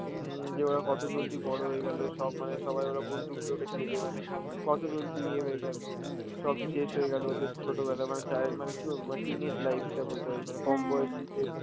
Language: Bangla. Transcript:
হম যে ওরা কত জলদি বড় হয়ে গেল, সব মানে সবাই ওরা বন্ধুগুলোকে ছেড়ে মানে কত জলদি এ হয়ে গেল, সব শেষ হয়ে গেল ওদের ছোটবেলা মানে child~ মানে কি বলবো মানে teenage life টা বলতে পারিস মানে কম বয়সীদের